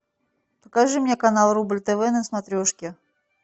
покажи мне канал рубль тв на смотрешке